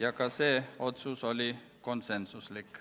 Aitäh!